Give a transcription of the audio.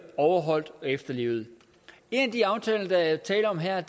overholdt og efterlevet en af de aftaler der er tale om her er